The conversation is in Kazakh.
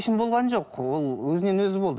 болған жоқ ол өзінен өзі болды